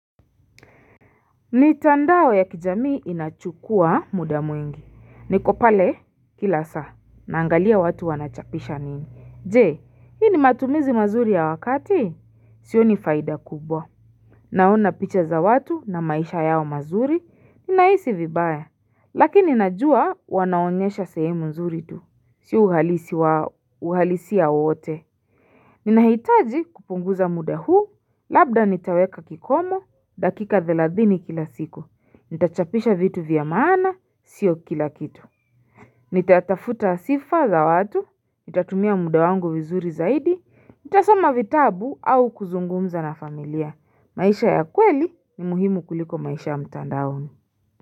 Mitandao ya kijamii inachukua muda mwingi, nikopale kila saa, naangalia watu wanachapisha nini, je, hii ni matumizi mazuri ya wakati? Sio ni faida kubwa. Naona picha za watu na maisha yao mazuri, ninaisi vibaya, lakini najua wanaonyesha sehemu nzuri tu, siuhalisi wa uhalisi ya ote. Ninahitaji kupunguza muda huu, labda nitaweka kikomo, dakika thelathini kila siku, nitachapisha vitu vya maana, sio kila kitu Nitatafuta sifa za watu, nitatumia muda wangu vizuri zaidi, nitasoma vitabu au kuzungumza na familia, maisha ya kweli ni muhimu kuliko maisha ya mtandaoni.